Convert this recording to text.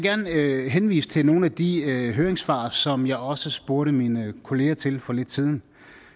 henvise til nogle af de høringssvar som jeg også spurgte mine kolleger til for lidt siden